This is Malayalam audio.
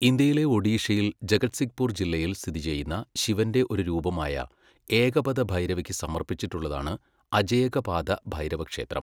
ഇന്ത്യയിലെ ഒഡീഷയിൽ ജഗത്സിഗ്പൂർ ജില്ലയിൽ സ്ഥിതിചെയ്യുന്ന ശിവന്റെ ഒരു രൂപമായ ഏകപദ ഭൈരവയ്ക്ക് സമർപ്പിച്ചിട്ടുള്ളതാണ് അജയകപാദ ഭൈരവ ക്ഷേത്രം.